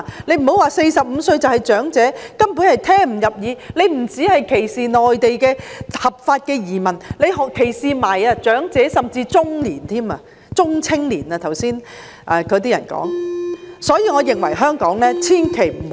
不要說45歲的是長者，根本聽不入耳；這不只歧視內地的合法移民，還歧視長者，甚至中年，即剛才有些議員說的中青年。